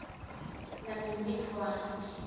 nabhimbidvwane